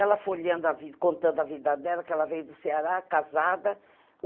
Ela folheando a vida, contando a vida dela, que ela veio do Ceará, casada.